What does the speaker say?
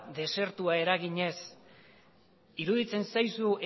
desertua eraginez iruditzen zaizu